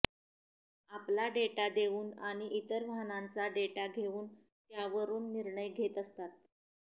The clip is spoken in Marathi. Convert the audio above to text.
आपला डेटा देऊन आणि इतर वाहनांचा डेटा घेऊन त्यावरून निर्णय घेत असतात